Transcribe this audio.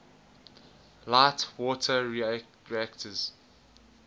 light water reactors